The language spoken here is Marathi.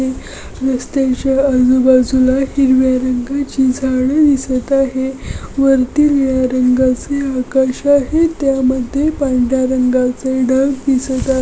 रस्त्याच्या आजूबाजूला हिरव्या रंगाची झाडे दिसत आहे वरती निळ्या रंगाचे आकाश आहे त्यामध्ये पांढर्‍या रंगाचे ढग दिसत आ --